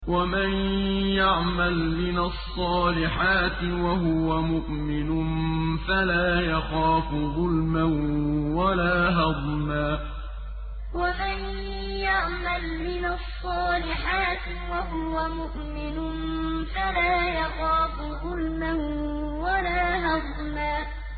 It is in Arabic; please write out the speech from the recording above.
وَمَن يَعْمَلْ مِنَ الصَّالِحَاتِ وَهُوَ مُؤْمِنٌ فَلَا يَخَافُ ظُلْمًا وَلَا هَضْمًا وَمَن يَعْمَلْ مِنَ الصَّالِحَاتِ وَهُوَ مُؤْمِنٌ فَلَا يَخَافُ ظُلْمًا وَلَا هَضْمًا